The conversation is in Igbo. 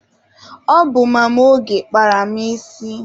Ọ bụ Mama Oge kpara m isi.